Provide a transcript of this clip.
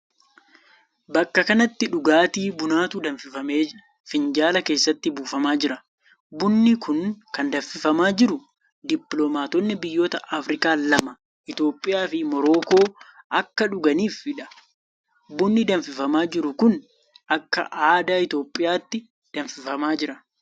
Bakka kanatti, dhugaatii bunaatu danfifamee finjaala keessatti buufamaa jira. Bunni kun kan danfifamaa jiru dippiloomaatonni biyyoota Afriikaa lama Itoophiyaa fi Morokoo akka dhuganiifi dha. Bunni danfifamaa jiru kun, akka aadaa Itoophiyaatti danfifamaa jira.